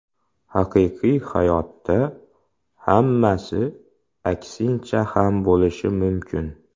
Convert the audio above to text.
Haqiqiy hayotda hammasi aksincha ham bo‘lishi mumkin.